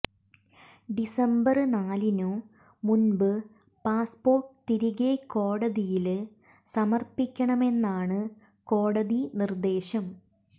December നാലിനു മുന്പു passport തിരികെ കോടതിയില് സമര്പ്പിക്കണമെന്നാണു കോടതി നിര്ദേശം